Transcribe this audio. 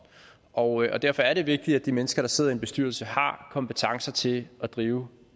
og derfor er det vigtigt at de mennesker der sidder i en bestyrelse har kompetencer til at drive